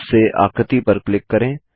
mouse से आकृति पर क्लिक करें